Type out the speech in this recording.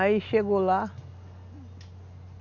Aí chegou lá.